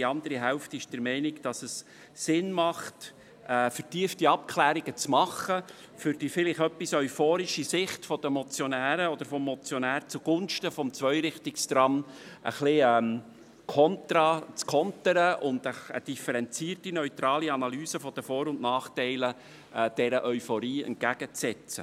Die andere Hälfte der Fraktion hält eine vertiefte Abklärung für sinnvoll, um die vielleicht etwas euphorische Sicht des Motionärs zugunsten des Zweirichtungstrams zu kontern und dieser eine differenzierte, neutrale Analyse der Vor- und Nachteile entgegenzusetzen.